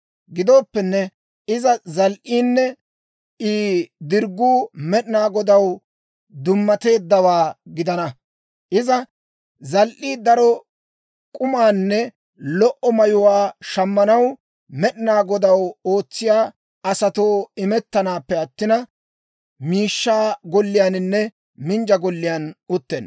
Gidooppenne, Izi zal"iinne I dirgguu Med'inaa Godaw dummateeddawaa gidana; izi zal"ii daro k'umaanne lo"o mayuwaa shammanaw, Med'inaa Godaw ootsiyaa asatoo imettanaappe attina, miishshaa golliyaaninne minjja golliyaan uttenna.